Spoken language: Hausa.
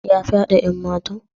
Ya fyade yan matan?